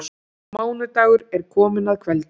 Mánudagur er kominn að kveldi.